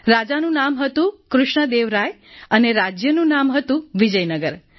રાજાનું નામ હતું કૃષ્ણ દેવ રાય અને રાજ્યનું નામ હતું વિજયનગર